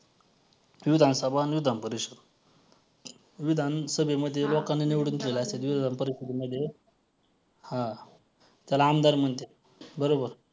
आठ प्रकार तरी आहेत कोणते तरी business चे अ अ एकमेव माहिती म्हणून ये एक एक व्यक्ती कंपनी. म्हणून ये आ सामान्य भागीदारी मर्यादित